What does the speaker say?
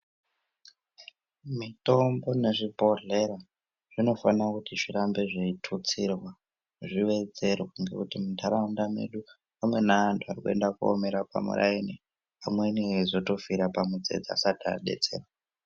Mitombo nezvibhedhlera zvinofana kuti zvirambe zveitutsirwa zviwedzerwe ngekuti muntaraunda mwedu amweni antu arikuenda kunomira pamuraini amweni eizotofire pamutsetse asati abetserwa .